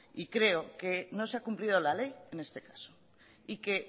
y creo que no se ha cumplido la ley en este caso y que